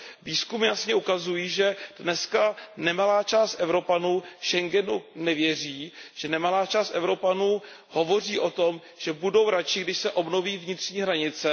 Výzkumy jasně ukazují, že dneska nemalá část Evropanů Schengenu nevěří, že nemalá část Evropanů hovoří o tom, že budou radši, když se obnoví vnitřní hranice.